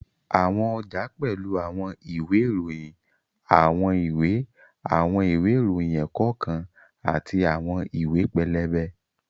Àwọn ọjà pẹ́lú àwọn ìwé ìròyìn, àwọn ìwé àwọn ìwé ìròyìn ẹ̀kọ́ kan àti àwọn ìwé pẹlẹbẹ